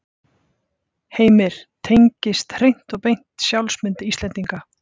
Heimir: Tengjast hreint og beint sjálfsmynd Íslendinga?